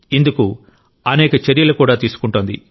ఇందుకు అనేక చర్యలు కూడా తీసుకుంటోంది